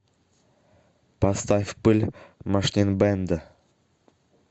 поставь пыль машнинбэнда